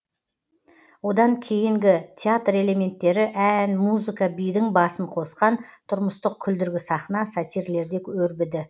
одан кейінгі театр элементтері ән музыка бидің басын қосқан тұрмыстық күлдіргі сахна сатирлерде өрбіді